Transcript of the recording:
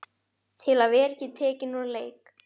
Til að vera ekki tekinn úr leik.